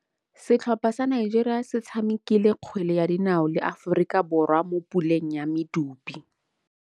Setlhopha sa Nigeria se tshamekile kgwele ya dinaô le Aforika Borwa mo puleng ya medupe.